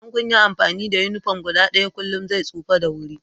Idan kun yi amfani da uniform guda ɗaya kullum zai tsufa da sauri